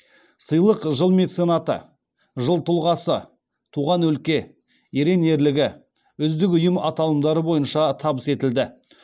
сыйлық жыл меценаты жыл тұлғасы туған өлке ерен ерлігі үздік ұйым аталымдары бойынша табыс етілді